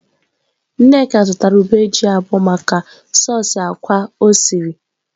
Nneka zụtara ube ji abuo maka soosị ákwá o siri.